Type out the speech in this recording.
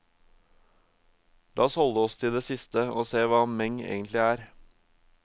La oss holde oss til det siste, og se hva meng egentlig er.